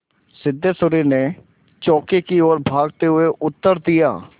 सिद्धेश्वरी ने चौके की ओर भागते हुए उत्तर दिया